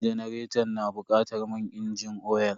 Janaretan na bukatar man inji oyal.